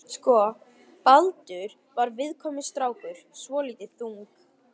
Sko, Baldur var viðkvæmur strákur, svolítið þung